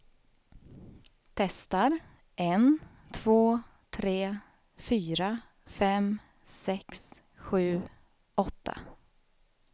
Testar en två tre fyra fem sex sju åtta.